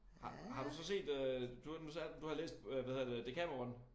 Har har du så set øh du er nu sagde du du havde læst øh hvad hedder det Dekameron